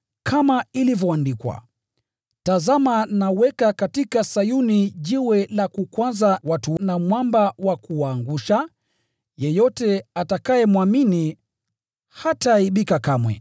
Kama ilivyoandikwa: “Tazama naweka katika Sayuni jiwe la kukwaza watu na mwamba wa kuwaangusha. Yeyote atakayemwamini hataaibika kamwe.”